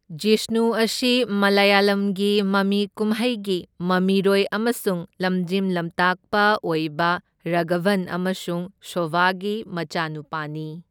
ꯖꯤꯁꯅꯨ ꯑꯁꯤ ꯃꯂꯌꯥꯂꯝꯒꯤ ꯃꯃꯤ ꯀꯨꯝꯍꯩꯒꯤ ꯃꯃꯤꯔꯣꯏ ꯑꯃꯁꯨꯡ ꯂꯝꯖꯤꯡ ꯂꯝꯇꯥꯛꯄ ꯑꯣꯏꯕ ꯔꯥꯘꯕꯟ ꯑꯃꯁꯨꯡ ꯁꯣꯚꯥꯒꯤ ꯃꯆꯥꯅꯨꯄꯥꯅꯤ꯫